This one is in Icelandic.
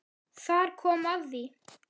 Þar kom að því!